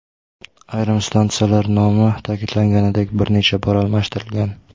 Ayrim stansiyalar nomi, ta’kidlanganidek, bir necha bor almashtirilgan.